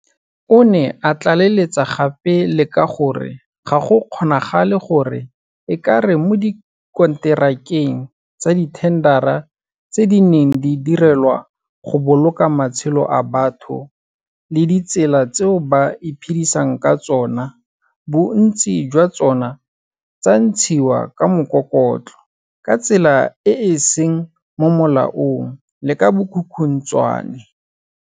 O ne a tlaleletsa gape le ka gore ga go kgonagale gore e ka re mo dikonterakeng tsa dithendara tse di neng di direlwa go boloka matshelo a batho le ditsela tseo ba iphedisang ka tsona bontsi jwa tsona tsa ntshiwa ka mokokotlo, ka tsela e e seng mo molaong le ka bokhukhuntshwane.